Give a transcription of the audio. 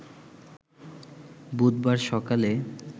বুধবার সকালে